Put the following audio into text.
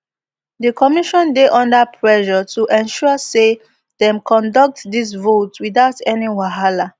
di commission dey under pressure to ensure say dem conduct dis vote without any wahala